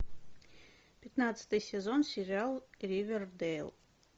пятнадцатый сезон сериал ривердэйл